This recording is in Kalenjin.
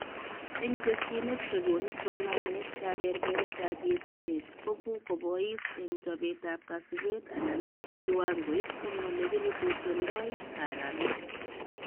Eng tesyinet chekonu somanet kebebertaab yetunet kobu koboisi eng chobetab kasubet anan kiwangoit eng olekirepotendoi karamet